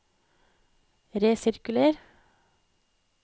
resirkuler